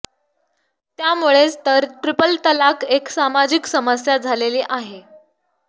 त्यामुळेच तर ट्रिपल तलाक एक सामाजिक समस्या झालेली आहे